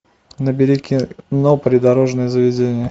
набери кино придорожное заведение